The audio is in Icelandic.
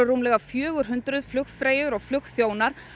rúmlega fjögur hundruð flugfreyjur og flugþjónar